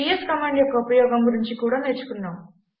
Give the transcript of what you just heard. PS command యొక్క ఉపయోగం గురించి కూడా మనం నేర్చుకున్నాం